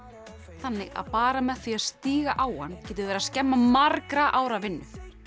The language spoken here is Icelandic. þannig að bara með því að stíga á hann getum við verið að skemma margra ára vinnu